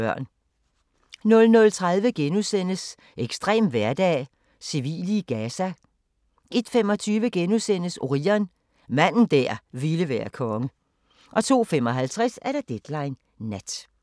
00:30: Ekstrem hverdag: Civile i Gaza * 01:25: Orion – manden der ville være konge * 02:55: Deadline Nat